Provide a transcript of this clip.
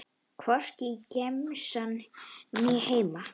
Hvorki í gemsann né heima.